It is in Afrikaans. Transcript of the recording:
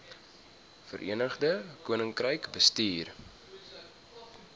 verenigde koninkryk bestuur